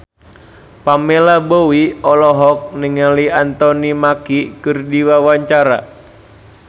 Pamela Bowie olohok ningali Anthony Mackie keur diwawancara